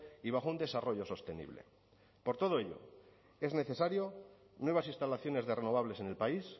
y bajo un desarrollo sostenible por todo ello es necesario nuevas instalaciones de renovables en el país